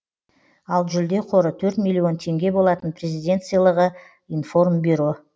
ал жүлде қоры төрт миллион теңге болатын президент сыйлығы информбюро